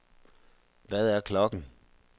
Hvad er klokken